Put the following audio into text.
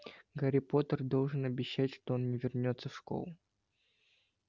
гарри поттер должен обещать что он не вернётся в школу